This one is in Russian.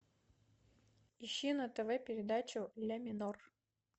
ищи на тв передачу ля минор